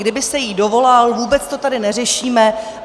Kdyby se jí dovolal, vůbec to tady neřešíme.